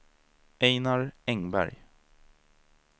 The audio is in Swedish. Ejnar Engberg